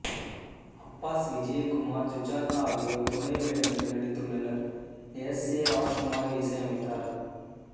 Abbas Vijayakumar Sujatha ஆகியோர் துணை வேடங்களில் நடித்துள்ளனர் எஸ் ஏ ராஜ்குமார் இசையமைத்தார்